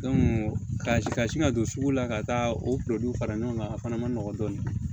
ka sin ka don sugu la ka taa o fara ɲɔgɔn kan a fana ma nɔgɔ dɔɔnin